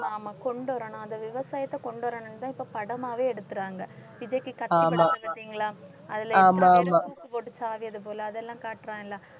ஆமா கொண்டுவரணும் அந்த விவசாயத்தை கொண்டு வரணும்னுதான் இப்ப படமாவே எடுத்தர்றாங்க. விஜய்க்கு கத்தி படத்தைப் பாத்திங்களா அதில எத்தனை பேர் தூக்குபோட்டு சாகறது போல அதெல்லாம் காட்டுறான் இல்ல?